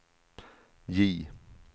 J